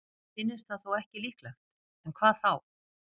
Sér finnist það þó ekki líklegt, en hvað þá?